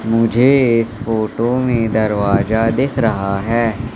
मुझे इस फोटो में दरवाजा दिख रहा है।